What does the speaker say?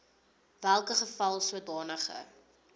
welke geval sodanige